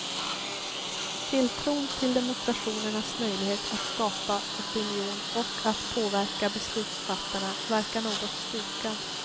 Tilltron till demonstrationernas möjlighet att skapa opinion och att påverka beslutsfattarna verkar något stukad.